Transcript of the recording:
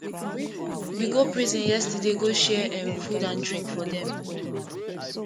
we go prison yesterday go share um food and drink for dem